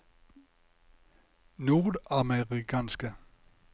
nordamerikanske